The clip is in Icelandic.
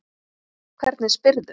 Hvernig spyrðu!